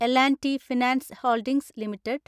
L‍ and T finance holdings limited